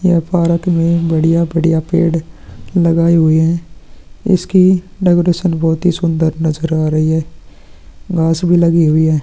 यह पार्क में बढ़िया-बढ़िया पेड़ लगाए हुए है इसकी डेकोरेशन बहुत ही सुंदर नज़र आ रही है घास भी लगी हुई है।